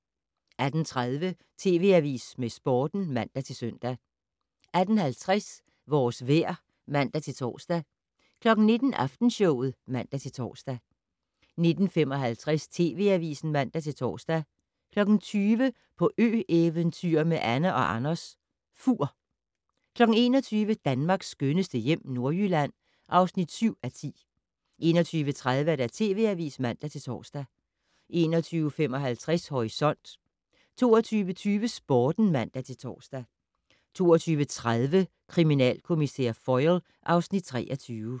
18:30: TV Avisen med Sporten (man-søn) 18:50: Vores vejr (man-tor) 19:00: Aftenshowet (man-tor) 19:55: TV Avisen (man-tor) 20:00: På ø-eventyr med Anne & Anders - Fur 21:00: Danmarks skønneste hjem - Nordjylland (7:10) 21:30: TV Avisen (man-tor) 21:55: Horisont 22:20: Sporten (man-tor) 22:30: Kriminalkommissær Foyle (Afs. 23)